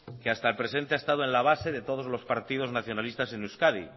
que hasta el presente ha estado en la base de todos los partidos nacionalistas en euskadi